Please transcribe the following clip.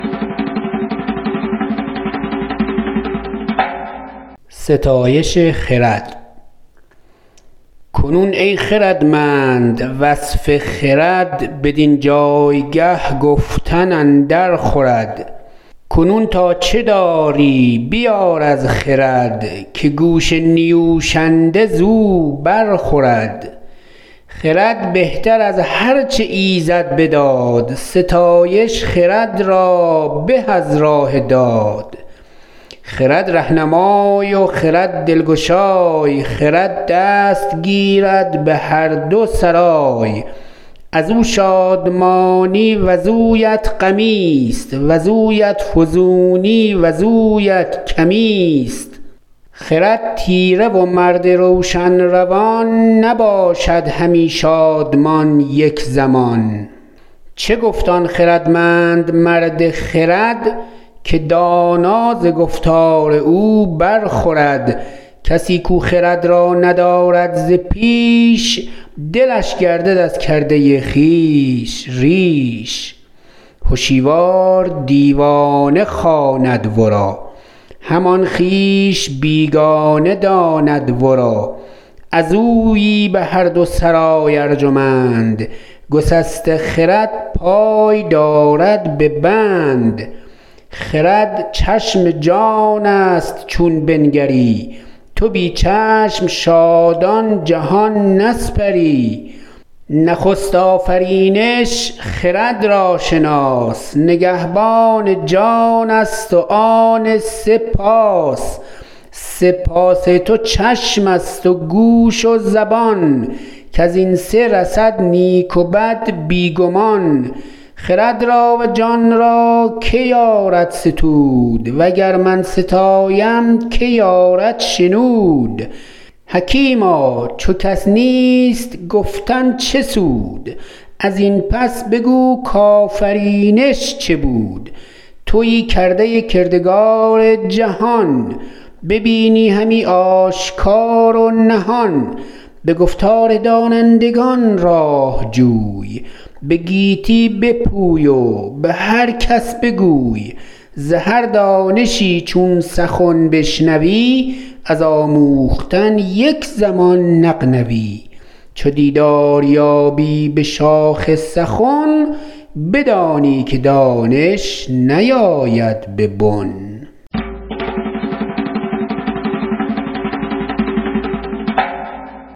کنون ای خردمند وصف خرد بدین جایگه گفتن اندر خورد کنون تا چه داری بیار از خرد که گوش نیوشنده زو بر خورد خرد بهتر از هر چه ایزد بداد ستایش خرد را به از راه داد خرد رهنمای و خرد دلگشای خرد دست گیرد به هر دو سرای از او شادمانی وزویت غمی است وزویت فزونی وزویت کمی است خرد تیره و مرد روشن روان نباشد همی شادمان یک زمان چه گفت آن خردمند مرد خرد که دانا ز گفتار او بر خورد کسی کو خرد را ندارد ز پیش دلش گردد از کرده خویش ریش هشیوار دیوانه خواند ورا همان خویش بیگانه داند ورا از اویی به هر دو سرای ارجمند گسسته خرد پای دارد به بند خرد چشم جان است چون بنگری تو بی چشم شادان جهان نسپری نخست آفرینش خرد را شناس نگهبان جان است و آن سه پاس سه پاس تو چشم است و گوش و زبان کز این سه رسد نیک و بد بی گمان خرد را و جان را که یارد ستود و گر من ستایم که یارد شنود حکیما چو کس نیست گفتن چه سود از این پس بگو کآفرینش چه بود تویی کرده کردگار جهان ببینی همی آشکار و نهان به گفتار دانندگان راه جوی به گیتی بپوی و به هر کس بگوی ز هر دانشی چون سخن بشنوی از آموختن یک زمان نغنوی چو دیدار یابی به شاخ سخن بدانی که دانش نیاید به بن